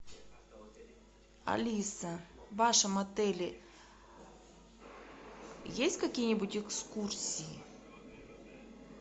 алиса в вашем отеле есть какие нибудь экскурсии